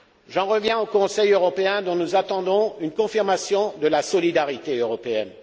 J'en reviens au Conseil européen, dont nous attendons une confirmation de la solidarité européenne.